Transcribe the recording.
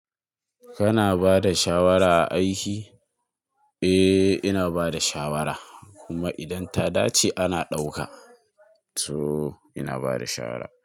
Kana bada shawara a aiki? Eh ina bada shawara kuma idan ta dace ana ɗauka. So ina bada shawara.